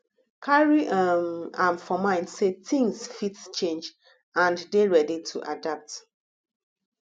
carry um am for mind sey things fit change and dey ready to adapt